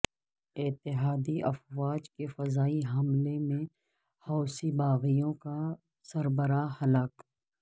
اتحادی افواج کے فضائی حملہ میں حوثی باغیوں کا سربراہ ہلاک